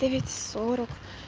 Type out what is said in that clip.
да ведь сорок